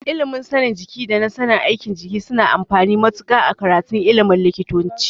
Ilimin sanin jiki da na sanin aikin jiki suna da amfani matuƙa a karatun ilimin likitanci.